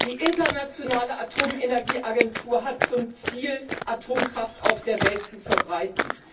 Die Internationale Atomenergieagentur hat zum Ziel, Atomkraft auf der Welt zu verbreiten.